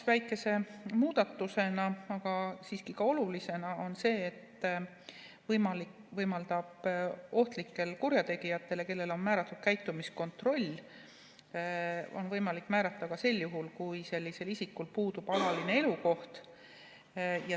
Väike, aga siiski ka oluline muudatus on see, et võimaldatakse ohtlikele kurjategijatele, kellele on määratud käitumiskontroll, määrata see ka sel juhul, kui sellisel isikul puudub alaline elukoht.